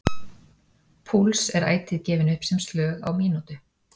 púls er ætíð gefinn upp sem slög á mínútu